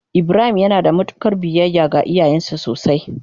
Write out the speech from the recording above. ibrahim yanada mutukar biyayya ga iyayansa sosai.